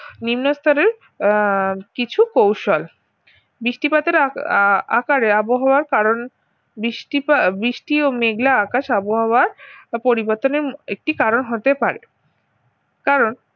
নিম্নস্তরের আহ কিছু কৌশল বৃষ্টিপাতের আ~ আকারে আবহাওয়া কারণ বৃষ্টি পা বৃষ্টি ও মেঘলা আকাশ আবহাওয়ার পরিবর্তনের একটি কারণ হতে পারে কারণ